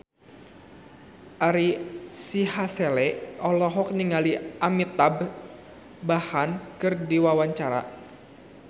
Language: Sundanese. Ari Sihasale olohok ningali Amitabh Bachchan keur diwawancara